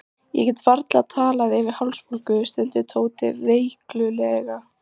Ég get varla talað fyrir hálsbólgu, stundi Tóti veiklulega.